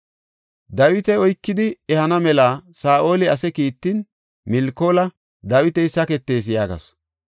Dawita oykidi ehana mela Saa7oli ase kiittin Milkoola, “Dawiti saketis” yaagasu.